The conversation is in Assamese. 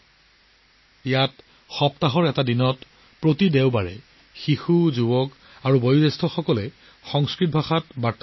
ইয়াত সপ্তাহত এদিন প্ৰতি দেওবাৰে শিশু যুৱক যুৱতী আৰু বয়োজ্যেষ্ঠসকলে সংস্কৃতত নিজৰ মাজত কথা পাতে